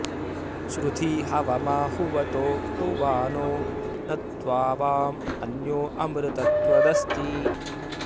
श्रु॒धी हव॒मा हु॑व॒तो हु॑वा॒नो न त्वावाँ॑ अ॒न्यो अ॑मृत॒ त्वद॑स्ति